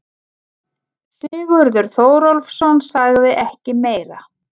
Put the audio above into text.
Sigurður Þórólfsson sagði ekki meira.